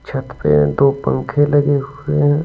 छत पे दो पंखे लगे हुए हैं।